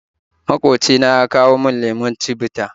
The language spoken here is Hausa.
Magwabci na ya kawo mun lemon chivita